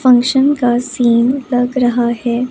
Function का scene लग रहा है।